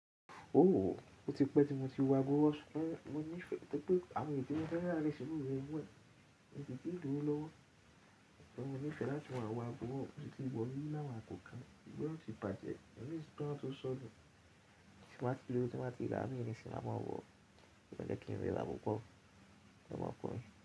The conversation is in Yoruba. Oòo, ó ti pẹ́ tí mo ti wọ agọ̀ ọ̀ṣọ́. Ní ìfẹ́ pé àwọn ènìyàn fẹ́ lára rí iṣẹ́ mí rẹ mọ, mi o silì tíì ní owó lọ́wọ́. Sùgbón mo ní ìfẹ́ láti wọ̀ wọ agọ̀ ọ̀ṣọ́, mo ti wọ rí láwọn àkókò kan yóò ti bàjẹ́, ẹ̀mí sì ti wá tó sọnù. Tí n ba ti lowo, tí m ba ti rà mii nisin, a máa wọ̀ ọ́. Ko kan jẹ́ kí n rira púpọ̀, ẹ máa ko mí.